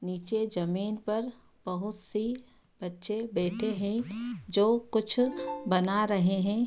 निचे जमीन पर बहुत सी बच्चे बैठे हैं जो कुछ बना रहे हैं ।